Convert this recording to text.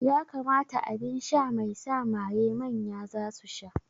Ƴa kamata aɓinsha mai sa maye manya zasu sha.